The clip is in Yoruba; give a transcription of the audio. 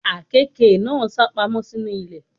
Àkekè náà sápamọ́ sínú ilé.